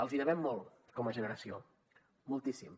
els devem molt com a generació moltíssim